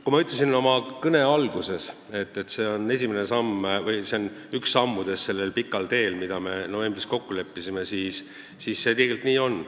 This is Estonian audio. Kui ma ütlesin oma kõne alguses, et see on üks samm sellel pikal teel, mille me novembris kokku leppisime, siis see tegelikult nii ongi.